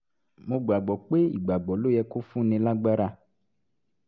mo gbà gbọ́ pé ìgbàgbọ́ ló yẹ kó fúnni lágbára